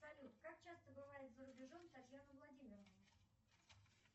салют как часто бывает за рубежом татьяна владимировна